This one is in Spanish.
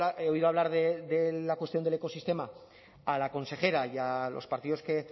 he oído hablar de la cuestión del ecosistema a la consejera y a los partidos que